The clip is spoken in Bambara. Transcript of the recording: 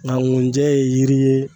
Nka ngunjɛ ye yiri ye.